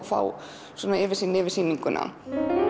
fá yfirsýn yfir sýninguna